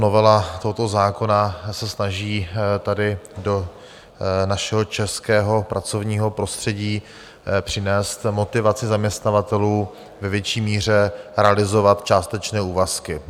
Novela tohoto zákona se snaží tady do našeho českého pracovního prostředí přinést motivaci zaměstnavatelů ve větší míře realizovat částečné úvazky.